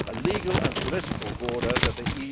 a legal and political border that the